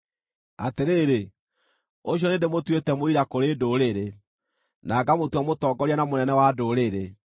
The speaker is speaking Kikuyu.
Atĩrĩrĩ ũcio nĩndĩmũtuĩte mũira kũrĩ ndũrĩrĩ, na ngamũtua mũtongoria na mũnene wa ndũrĩrĩ.